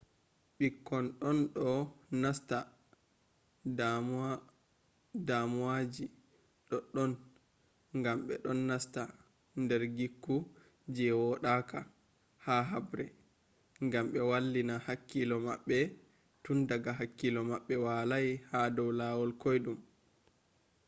ɓikkon ɗon ɗo nasta damu waji doddon ngam ɓe ɗon nasta ‘’ nder gikku je woɗaka be haɓre’’ ngam be wallina hakkilo maɓɓe tun daga hakkilo maɓɓe walai ha dow lawol koyɗum